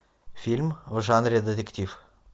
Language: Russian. фильм в жанре детектив